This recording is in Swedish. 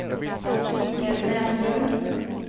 Michael Näslund